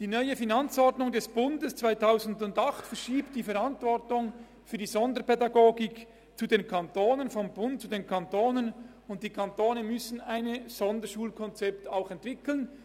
Die neue Finanzordnung 2008 des Bundes verschiebt die Verantwortung für die Sonderpädagogik zu den Kantonen, und die Kantone müssen ein Sonderschulkonzept entwickeln.